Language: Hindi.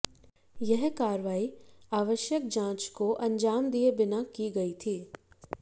यह कार्रवाई आवश्यक जांच को अंजाम दिए बिना की गई थी